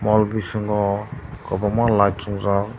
o bising o kwbangma light chwngjak.